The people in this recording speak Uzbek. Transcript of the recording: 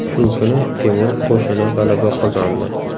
Shu kuni Temur qo‘shini g‘alaba qozondi.